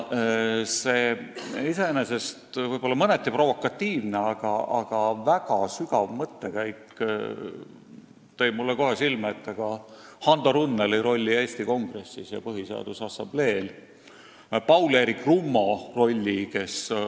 See iseenesest võib-olla mõneti provokatiivne, aga väga sügav mõttekäik tõi mulle kohe meelde Hando Runneli rolli Eesti Kongressis ja Põhiseaduse Assamblees, samuti Paul-Eerik Rummo rolli Riigikogus.